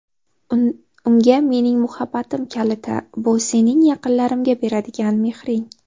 Unga mening muhabbatim kaliti bu sening yaqinlarimga beradigan mehring.